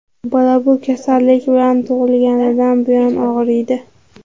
Bola bu kasallik bilan tug‘ilganidan buyon og‘riydi.